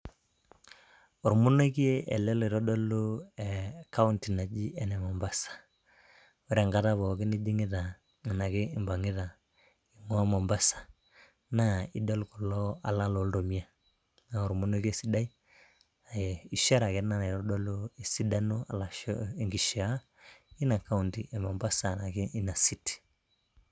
Ormonokie ele loitodolu eh, kaunti naji ene Mombasa. Ore enkata pookin nijing'ita enake impang'ita enake impang'ita ing'ua mombasa naa idol kulo ala loltomia naa ormonokie sidai eh, ishara ake ena naitodolu esidano arashu enkishia ina kaunti e Mombasa enake ina city.